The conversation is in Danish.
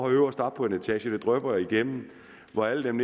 øverst oppe på en etage det drypper igennem og hvor alle dem